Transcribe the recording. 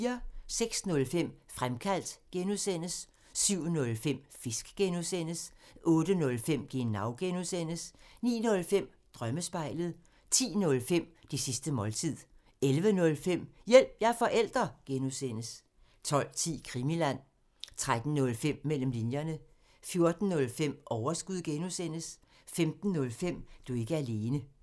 06:05: Fremkaldt (G) 07:05: Fisk (G) 08:05: Genau (G) 09:05: Drømmespejlet 10:05: Det sidste måltid 11:05: Hjælp – jeg er forælder! (G) 12:10: Krimiland 13:05: Mellem linjerne 14:05: Overskud (G) 15:05: Du er ikke alene